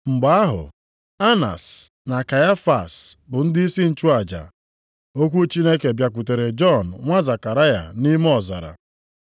mgbe ahụ Anas na Kaịfas bụ ndịisi nchụaja, okwu Chineke bịakwutere Jọn nwa Zekaraya nʼime ọzara.